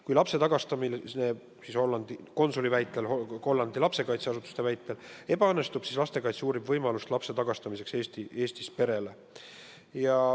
Kui lapse tagastamine Hollandi konsuli väitel, Hollandi lastekaitseasutuste väitel ebaõnnestub, siis uurib lastekaitse võimalust tagastada laps Eestis elavale perele.